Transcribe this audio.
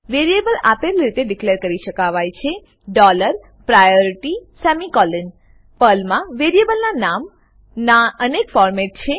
variable આપલે રીતે declare કરી શકાય છે ડોલર પ્રાયોરિટી સેમિકોલોન પર્લમા વેરીએબલના નામ ના અનેક ફોરમેટ છે